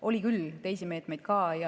Oli küll teisi meetmeid.